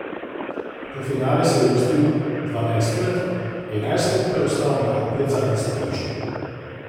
V finale se je uvrstil dvanajstkrat, enajstkrat pa je ostal na predzadnji stopnički.